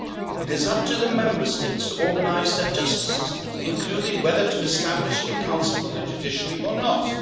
EU. It is up to the Member States to organise their justice systems, including whether to establish a council for the judiciary, or